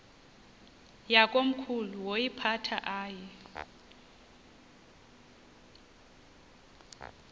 yakomkhulu woyiphatha aye